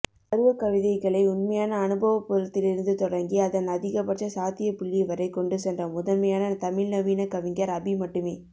அருவக்கவிதைகளை உண்மையான அனுபவப் புலத்திலிருந்து தொடங்கி அதன் அதிகபட்ச சாத்தியப்புள்ளிவரை கொண்டு சென்ற முதன்மையான தமிழ்நவீனக் கவிஞர் அபி மட்டுமே